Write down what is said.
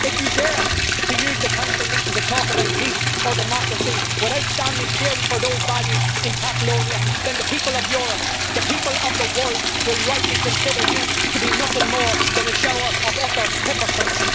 If you dare to use the Council meeting to talk about peace or democracy without standing clearly for those values in Catalonia, then the people of Europe, the people of the world, will rightly consider you to be nothing more than a shower of utter hypocrites.